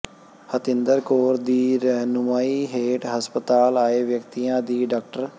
ਹਤਿੰਦਰ ਕੌਰ ਦੀ ਰਹਿਨੁਮਾਈ ਹੇਠ ਹਸਪਤਾਲ ਆਏ ਵਿਆਕਤੀਆਂ ਦੀ ਡਾ